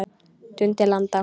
Dundi landa!